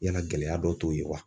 Yala gɛlɛya dɔw t'o ye wa?